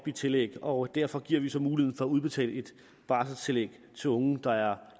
i tillæg og derfor giver vi så mulighed for at udbetale et barselstillæg til unge der er